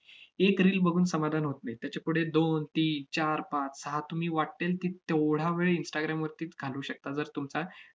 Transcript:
एक reel बघून समाधान होत नाही. त्याच्यापुढे दोन, तीन, चार, पाच, सहा तुम्ही वाट्टेल तित~ तेवढा वेळ instagram वरती त~ घालवू शकता, जर तुमचा